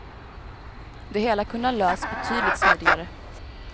Det hela kunde ha lösts betydligt smidigare.